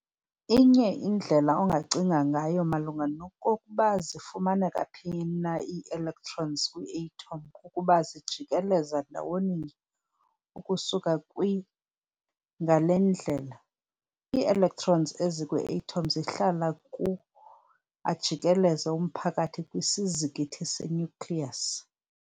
Inye indlela ongacinga ngayo malunga nokkokuba zifumaneka phi na ii-electrons kwi-atom kukuba zijikeleza ndawoninye ukusuka kw]. ngale ndlela, ii-electrons ezikwi-atom zihlala ku-] ajikeleze umphakathi kwisizikithi se- nucleus.